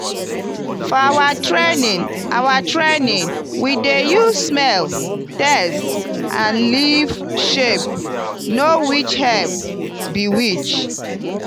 for our training our training we dey use smell taste and leaf shape know which herb be which.